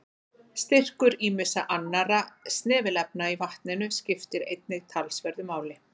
Styrkur ýmissa annarra snefilefna í vatninu skiptir einnig talsverðu máli.